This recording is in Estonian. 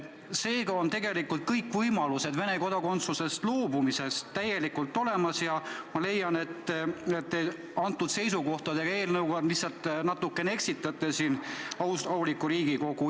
Seega on tegelikult võimalus Vene kodakondsusest loobumiseks täiesti olemas ja ma leian, et te oma eelnõuga lihtsalt natuke eksitate siin aulikku Riigikogu.